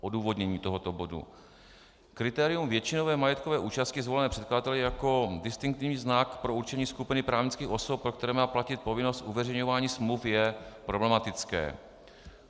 Odůvodnění tohoto bodu: Kritérium většinové majetkové účasti zvolené předkladateli jako distinktivní znak pro určení skupiny právnických osob, pro které má platit povinnost uveřejňování smluv, je problematické.